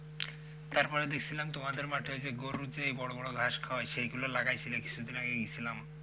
তারপরে দেখছিলাম তোমাদের মাঠে ওই গরু সেই বড় বড় ঘাস খায় সেইগুলো লাগাইছিলে কিছুদিন আগে গেছিলাম।